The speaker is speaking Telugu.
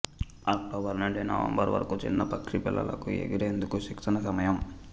అక్టోబర్ నుండి నవంబర్ వరకు చిన్న పక్షి పిల్లలకు ఎగిరేందుకు శిక్షణ సమయం